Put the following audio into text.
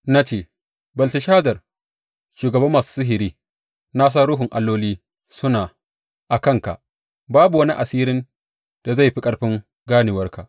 Na ce, Belteshazar, shugaban masu sihiri, na san ruhun alloli suna a kanka, babu wani asirin da zai fi ƙarfin ganewarka.